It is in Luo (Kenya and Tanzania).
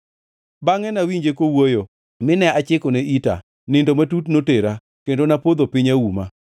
Bangʼe nawinje kowuoyo, mine achikone ita; nindo matut notera, kendo napodho piny auma.